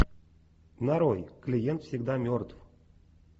нарой клиент всегда мертв